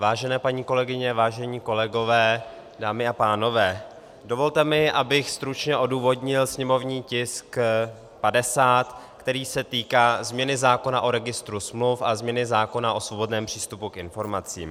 Vážené paní kolegyně, vážení kolegové, dámy a pánové, dovolte mi, abych stručně odůvodnil sněmovní tisk 50, který se týká změny zákona o registru smluv a změny zákona o svobodném přístupu k informacím.